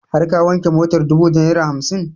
Har ka wanke motar dubu da naira hamsin?